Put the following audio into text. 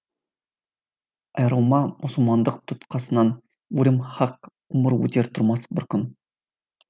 айырылма мұсылмандық тұтқасынан өлім хақ өмір өтер тұрмас бір күн